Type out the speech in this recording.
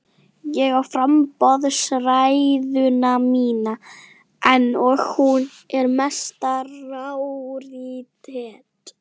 Ég á framboðsræðuna mína enn og hún er mesta rarítet.